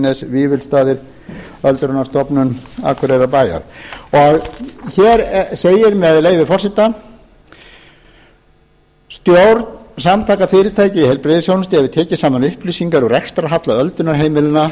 sunnuhlíð víðines vífilsstaðir öldrunarstofnun akureyrarbæjar hér segir með leyfi forseta stjórn samtaka fyrirtækja í heilbrigðisþjónustu hefur tekið saman upplýsingar um rekstrarhalla öldrunarheimilanna